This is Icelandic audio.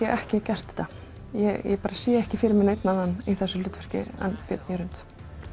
ekki gert þetta ég sé ekki fyrir mér neinn annan í þessu hlutverki en Björn Jörund